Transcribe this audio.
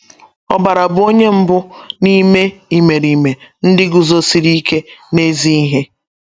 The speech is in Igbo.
Obara bụ onye mbụ n’ime imerime ndị guzosiri ike n’ezi ihe.